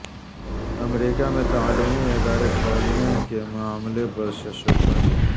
امریکہ میں تعلیمی ادارے کھولنے کے معاملے پر شش و پنج